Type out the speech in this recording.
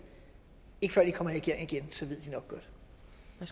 ser vi